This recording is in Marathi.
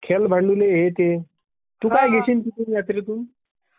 खेळ भांडुले हे ते, तू काय घेशील मग तिथून यात्रेतून.